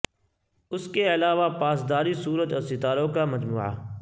اس کے علاوہ پاسداری سورج اور ستاروں کا مجموعہ